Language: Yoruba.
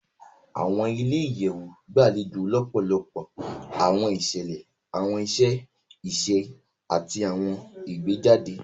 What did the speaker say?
Awọn ilé-iyẹwu gbalejo lọpọlọpọ awọn iṣẹlẹ, awọn iṣẹ iṣe, ati awọn ìgbéjáde